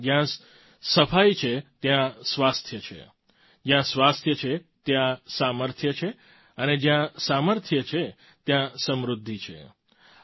ખરેખર જ્યાં સફાઈ છે ત્યાં સ્વાસ્થ્ય છે જ્યાં સ્વાસ્થ્ય છે ત્યાં સામર્થ્ય છે અને જ્યાં સામર્થ્ય છે ત્યાં સમૃદ્ધિ છે